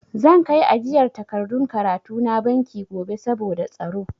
Zan kai ajiyar takardun karatu na banki gobe saboda tsaro.